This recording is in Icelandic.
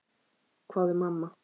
hváði mamma.